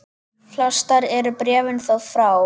Flest eru bréfin þó frá